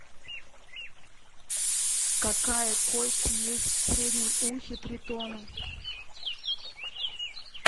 какая кость есть в среднем ухе тритона